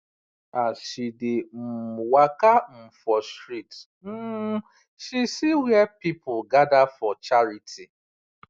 as she dey um waka um for street um she see where people gather for charity